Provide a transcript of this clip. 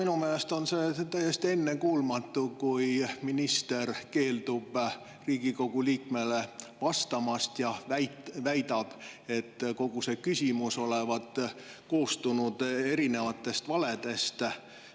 No minu meelest on see täiesti ennekuulmatu, kui minister keeldub Riigikogu liikmele vastamast ja väidab, et kogu küsimus olevat koosnenud erinevatest valedest.